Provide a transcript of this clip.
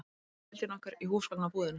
Öll kvöldin okkar í húsgagnabúðinni.